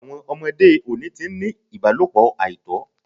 Àwọn ọmọdé òde oni ti ni ìbálọ̀pọ̀ àìtọ́